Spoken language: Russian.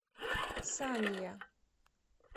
санья